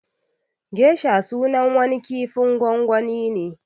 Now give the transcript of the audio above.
Gesha sunan wani kifin gwangwani ne